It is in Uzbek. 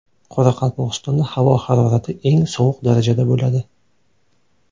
Qoraqalpog‘istonda havo harorati eng sovuq darajada bo‘ladi.